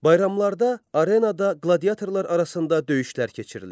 Bayramlarda arenada qladiatörlar arasında döyüşlər keçirilirdi.